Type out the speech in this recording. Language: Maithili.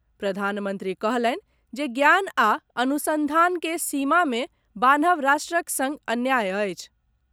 प्रधानमंत्री कहलनि जे ज्ञान आ अनुसंधान के सीमा मे बान्हब राष्ट्रक संग अन्याय अछि।